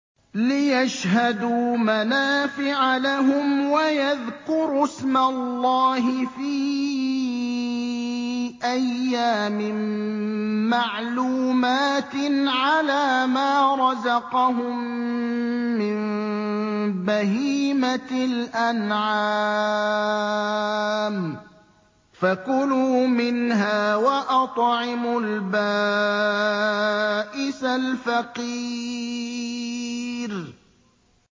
لِّيَشْهَدُوا مَنَافِعَ لَهُمْ وَيَذْكُرُوا اسْمَ اللَّهِ فِي أَيَّامٍ مَّعْلُومَاتٍ عَلَىٰ مَا رَزَقَهُم مِّن بَهِيمَةِ الْأَنْعَامِ ۖ فَكُلُوا مِنْهَا وَأَطْعِمُوا الْبَائِسَ الْفَقِيرَ